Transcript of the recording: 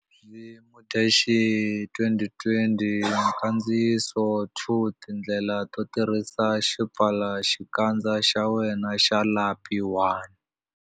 V Mudyaxihi 2020 Nkandziyiso 2 Tindlela to tirhisa xipfalaxikandza xa wena xa lapi 1.